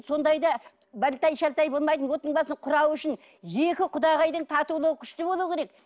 сондайда балтай шалтай болмайтын оттың басын құрау үшін екі құдағайдың татулығы күшті болуы керек